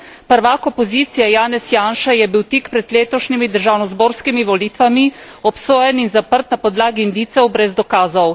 Pravak opozicije, Janez Janša, je bil tik pred letošnjimi državno zborskimi volitvami obsojen in zaprt na podlagi indicov brez dokazov.